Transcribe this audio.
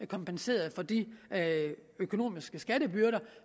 kompenseret for de økonomiske skattebyrder